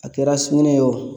A kɛra sugunɛ ye o